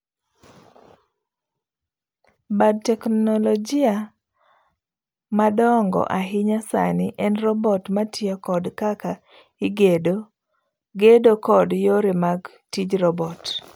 Bad teknologia madongo ahinya sani en robot matiyo kod kaka igedo, gedo kod yore mag tij robot.